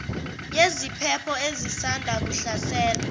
yeziphepho ezisanda kuhlasela